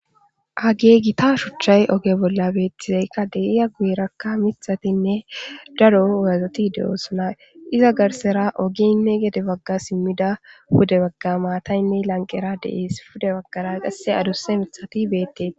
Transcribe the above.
hagey gita shuchchay oge bolla beettizeykka deiya gueerakka mithatinne daro wazati de7oo suna iza garsera ogeynne gede bagga simmida gude bagga maataynne lanqera deiis pude baggara qasse adusse mithati beettee